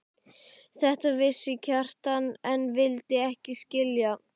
Þetta vissi Kjartan en vildi ekki skilja.